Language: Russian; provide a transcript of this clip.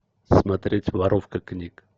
смотреть воровка книг